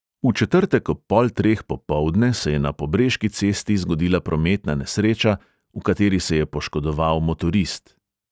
V četrtek ob pol treh popoldne se je na pobreški cesti zgodila prometna nesreča, v kateri se je poškodoval motorist.